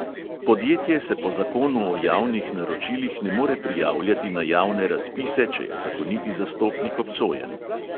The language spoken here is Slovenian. Podjetje se po zakonu o javnih naročilih ne more prijavljati na javne razpise, če je zakoniti zastopnik obsojen.